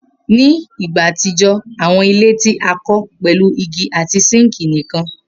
Ni igba atijọ, awọn ile ti a kọ pẹlu igi ati sinki nikan.